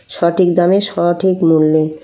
সঠিক দামে সঠিক মূল্য |